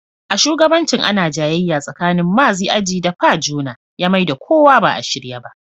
A shugabancin ana jayayya tsakanin Maazi Aji da Pa Jona ya Mai da kuwa ba a shirye ba.